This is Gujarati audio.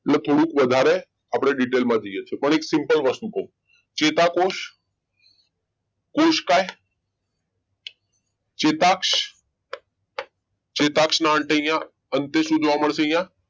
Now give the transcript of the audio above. એટલે થોડું વધારે આપણે detail માં જઈએ છીએ simple વસ્તુ કહું ચેતાકોષ કોશકાય ચેતાક્ષ ચેતાક્ષના અહીંયા અંતે શોધવા મળશે અહીંયા